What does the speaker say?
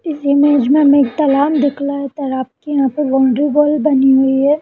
इस इमेज में हमें एक तालाब दिख रहा है तालाब के यहां पर बाउंड्री वॉल बनी हुई है।